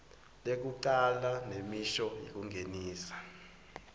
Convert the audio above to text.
tekucala nemisho yekungenisa